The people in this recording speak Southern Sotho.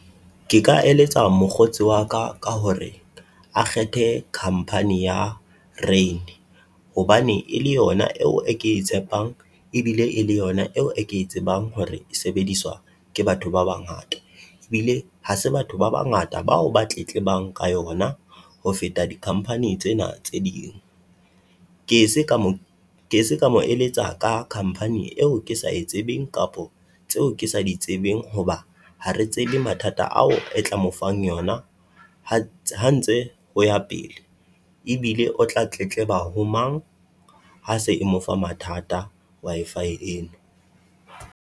Ke ka eletsa mokgotsi wa ka ka hore a kgethe company ya Rain, hobane e le yona eo e ke e tshepang ebile e le yona eo e ke e tsebang hore e sebediswa ke batho ba bangata. Ebile ha se batho ba bangata bao ba tletlebang ka yona ho feta di-company tsena tse ding. Ke se ka mo ke se ka mo eletsa ka company eo ke sa e tsebeng kapo tseo ke sa di tsebeng, hoba ha re tsebe mathata ao e tla mo fang yona ha ha ntse ho ya pele. Ebile o tla tletleba ho mang, ha se e mo fa mathata Wi-Fi eno?